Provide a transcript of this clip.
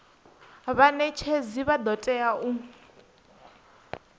vhanetshedzi vha do tea u